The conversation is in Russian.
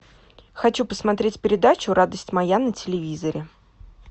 хочу посмотреть передачу радость моя на телевизоре